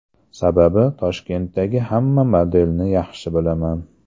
Sababi, Toshkentdagi hamma modelni yaxshi bilaman.